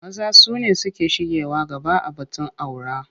Maza su ne suke shigewa gaba a batun aura.